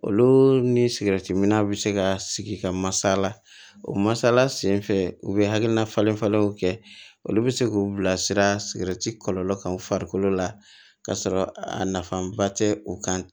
Olu ni sigɛritiminna bɛ se ka sigi ka masaala o masala sen fɛ u bɛ hakilina falen falenw kɛ olu bɛ se k'u bilasira sigɛriti kɔlɔlɔ kan u farikolo la ka sɔrɔ a nafanba tɛ u kan